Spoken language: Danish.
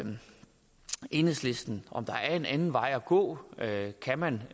enhedslisten om der er en anden vej at gå kan man